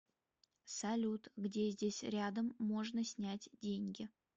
салют где здесь рядом можно снять деньги